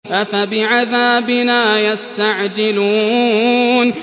أَفَبِعَذَابِنَا يَسْتَعْجِلُونَ